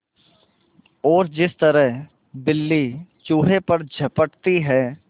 और जिस तरह बिल्ली चूहे पर झपटती है